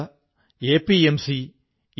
ന ഹി ജ്ഞാനേന സദൃശം പവിത്രമിഹ വിദ്യതേ